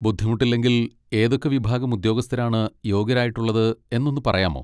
ബുദ്ധിമുട്ടില്ലെങ്കിൽ ഏതൊക്കെ വിഭാഗം ഉദ്യോഗസ്ഥരാണ് യോഗ്യരായിട്ടുള്ളത് എന്നൊന്ന് പറയാമോ?